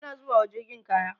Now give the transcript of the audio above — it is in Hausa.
ana zubawa jirgin kaya